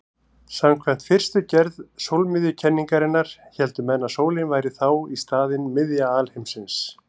Samkvæmt fyrstu gerð sólmiðjukenningarinnar héldu menn að sólin væri þá í staðinn miðja alheimsins.